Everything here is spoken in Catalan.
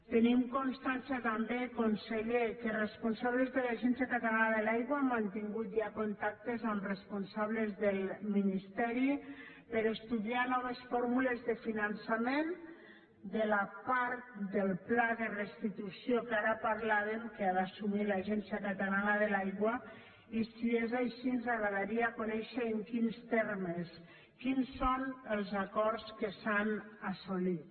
tenim constància també conseller que responsables de l’agència catalana de l’aigua han mantingut ja contactes amb responsables del ministeri per a estudiar noves fórmules de finançament de la part del pla de restitució que ara parlàvem que ha d’assumir l’agència catalana de l’aigua i si és així ens agradaria conèixer en quins termes quins són els acords que s’han assolit